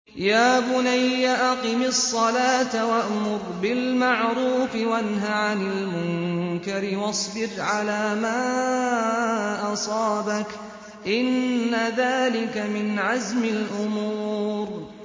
يَا بُنَيَّ أَقِمِ الصَّلَاةَ وَأْمُرْ بِالْمَعْرُوفِ وَانْهَ عَنِ الْمُنكَرِ وَاصْبِرْ عَلَىٰ مَا أَصَابَكَ ۖ إِنَّ ذَٰلِكَ مِنْ عَزْمِ الْأُمُورِ